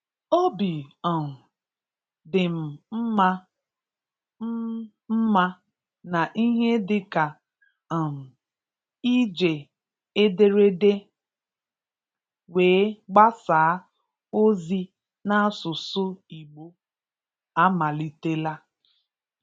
Obi um dị m mma m mma na ihe dị ka um iji ederede wee gbasaa ozi n'asụsụ Igbo amalitela.